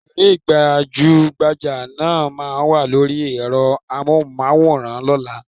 Òṣèré gbajúgbajà náà ma wà lóri ẹ́rọ Amóhùnmáwòrán lọ́la.